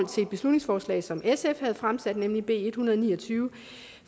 beslutningsforslag som sf havde fremsat nemlig b en hundrede og ni og tyve